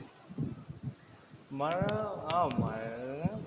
മഴ ആഹ് മഴ്ഴ